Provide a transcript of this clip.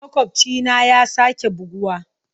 Makwabcina ya sake buguwa.